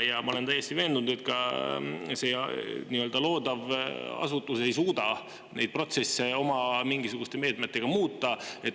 Ja ma olen täiesti veendunud, et ka see loodav asutus ei suuda neid protsesse oma mingisuguste meetmetega muuta.